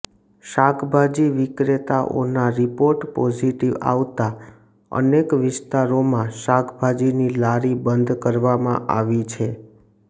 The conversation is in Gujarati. શાકભાજી વિક્રેતાઓના રિપોર્ટ પોઝિટિવ આવતા અનેક વિસ્તારોમાં શાકભાજીની લારી બંધ કરાવવામાં આવી છે